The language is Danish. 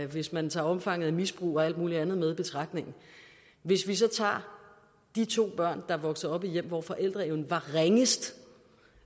hvis man tager omfanget af misbrug og alt muligt andet med i betragtning hvis vi så tager de to børn der er vokset op i hjem hvor forældreevnen var ringest